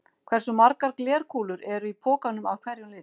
Hversu margar glerkúlur eru í pokanum af hverjum lit?